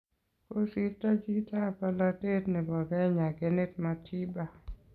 Kosirto chito ab polatet nebo Kenya Kenneth Matiba.